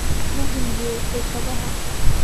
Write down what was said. Ma rinjiyeysay kabaha?